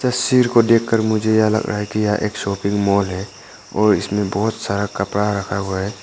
तस्वीर को देखकर मुझे यह लग रहा है कि यह एक शॉपिंग मॉल है और इसमें बहुत सारा कपड़ा रखा हुआ है।